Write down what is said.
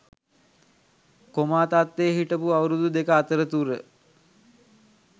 coma තත්වයේ හිටපු අවුරුදු දෙක අතරතුර